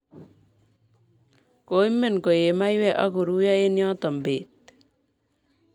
Koimen koei maiywek akoruiyo eng yoto bet